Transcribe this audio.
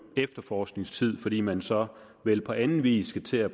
efterforskningstid fordi man så vel på anden vis skal til at